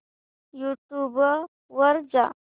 YouTube वर जा